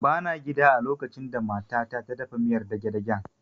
Ba na gida a lokacin da mata ta ta dafa miyar dagedagen